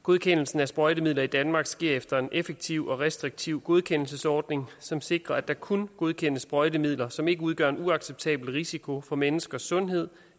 godkendelsen af sprøjtemidler i danmark sker efter en effektiv og restriktiv godkendelsesordning som sikrer at der kun godkendes sprøjtemidler som ikke udgør en uacceptabel risiko for menneskers sundhed